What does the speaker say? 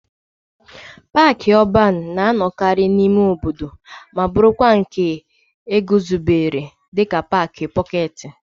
Paaki ọban na-anọkarị n'ime obodo ma bụrụkwa nke e guzobere dịka paaki pọketi.